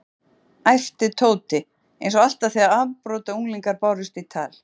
æpti Tóti, einsog alltaf þegar afbrotaunglingar bárust í tal.